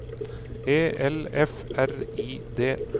E L F R I D